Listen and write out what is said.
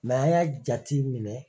N'an y'a jatiminɛ